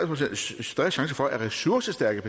procents større chance for at ressourcestærke